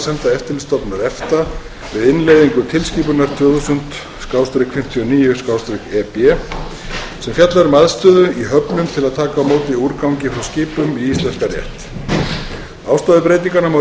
eftirlitsstofnunar efta við innleiðingu tilskipunar tvö þúsund fimmtíu og níu e b sem fjallar um aðstöðu í höfnum til að taka á móti úrgangi frá skipum í íslenskan rétt ástæðu breytinganna má rekja allt aftur til